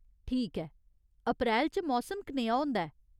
ठीक ऐ। अप्रैल च मौसम कनेहा होंदा ऐ ?